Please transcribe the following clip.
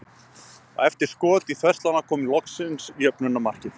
Og eftir skot í þverslána kom loksins jöfnunarmarkið.